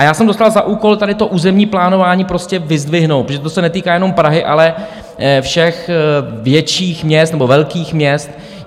A já jsem dostal za úkol tady to územní plánování prostě vyzdvihnout, protože to se netýká jenom Prahy, ale všech větších měst nebo velkých měst.